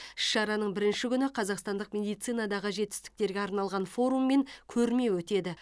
іс шараның бірінші күні қазақстандық медицинадағы жетістіктерге арналған форум мен көрме өтеді